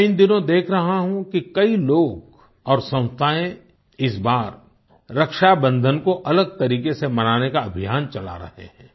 मैं इन दिनों देख रहा हूँ कि कई लोग और संस्थायें इस बार रक्षाबंधन को अलग तरीके से मनाने का अभियान चला रहें हैं